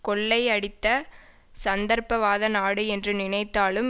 கொள்ளை அடித்த சந்தர்ப்பவாத நாடு என்று நினைத்தாலும்